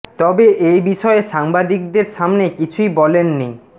তবে এ বিষয়ে সাংবাদিকদের সামনে কিছুই বলেন নি ড